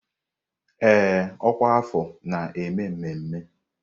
Ee, ọkwa afọ na-eme mmemme.